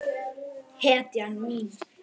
Hann er hetjan mín.